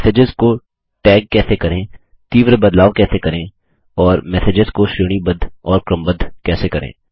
messages को tag कैसे करें तीव्र बटलाव कैसे करें और मैसेजेस को श्रेणीबद्ध और क्रमबद्ध कैसे करें